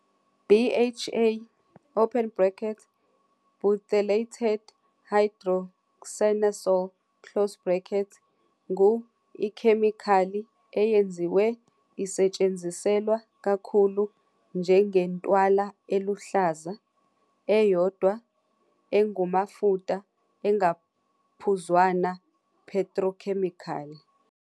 'BHA', Butylated hydroxyanisole, ngu-ikhemikhali eyenziwe isetshenziselwa kakhulu njengentwala eluhlaza, eyodwa, engumafuta engaphuzwana petrochemical.